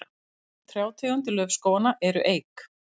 helstu trjátegundir laufskóganna eru eik